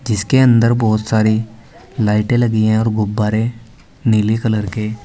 जिसके अंदर बहुत सारी लाईटें लगी हैं और गुब्बारे नीले कलर के --